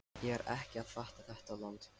Ég er ekki að fatta þetta land.